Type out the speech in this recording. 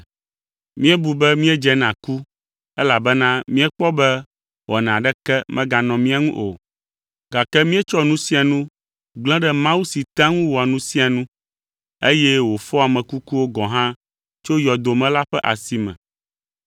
Míebu be míedze na ku elabena míekpɔ be wɔna aɖeke meganɔ mía ŋu o, gake míetsɔ nu sia nu gblẽ ɖe Mawu si tea ŋu wɔa nu sia nu, eye wòfɔa ame kukuwo gɔ̃ hã tso yɔdo me la ƒe asi me.